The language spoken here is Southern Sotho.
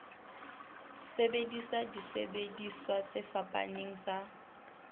sebedisa disebediswa tse fapaneng tsa